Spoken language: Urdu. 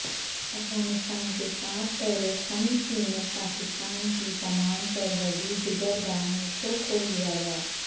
افغانستان کے ساتھ طورخم سمیت پاکستان کی تمام سرحدی گزرگاہوں کو کھول دیا گیا